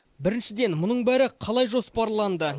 біріншіден мұның бәрі қалай жоспарланды